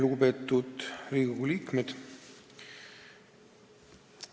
Lugupeetud Riigikogu liikmed!